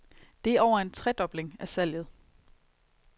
Det er over en tredobling af salget.